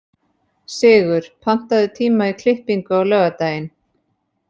Sigur, pantaðu tíma í klippingu á laugardaginn.